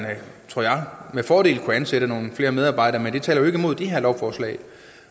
med fordel kunne ansætte nogle flere medarbejdere men det taler jo ikke imod det her lovforslag